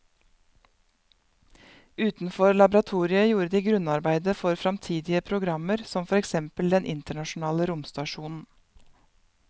Utenfor laboratoriet gjorde de grunnarbeidet for fremtidige programmer som for eksempel den internasjonale romstasjonen.